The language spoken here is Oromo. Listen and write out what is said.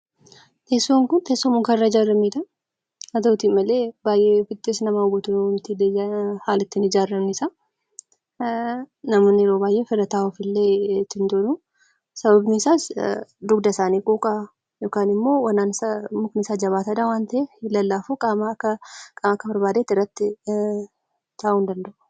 Teessoon kun teessoo mukarraa ijaaramedha. Haa ta'u malee haalli ittiin ijaaramesaa namoonni irra taa'uuf illee ni jiru. Sababiin isaas dugda isaanii quuqa mukni isaa jabaataadha waan ta'eef hin lallaafu. Akka barbaadetti irratti taa'uu hin danda'u.